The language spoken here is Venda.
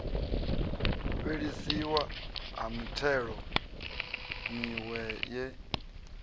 fhelisiwa ha mithelo miwe ye